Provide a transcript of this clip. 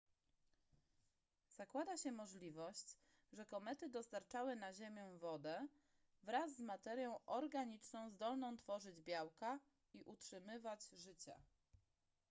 zakłada się możliwość że komety dostarczały na ziemię wodę wraz z materią organiczną zdolną tworzyć białka i utrzymywać życie